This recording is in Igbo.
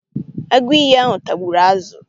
Agụiyi ahụ tagburu azụ.